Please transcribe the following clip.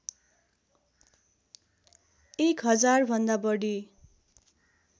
एक हजारभन्दा बढी